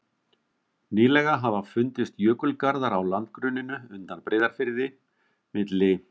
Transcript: Nýlega hafa fundist jökulgarðar á landgrunninu undan Breiðafirði, milli